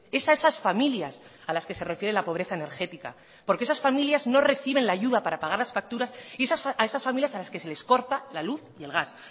es a esas familias a las que se refiere la pobreza energética porques esas familias no reciben la ayuda para pagar las facturas y es a esas familias a las que se les corta la luz y el gas